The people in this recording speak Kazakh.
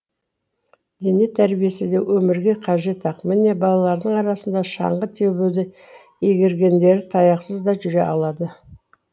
дене тәрбиесі де өмірге қажет ақ міне балалардың арасында шаңғы тебуді игергендері таяқсыз да жүре алады